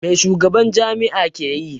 Mai shugaban jami'a ke yi?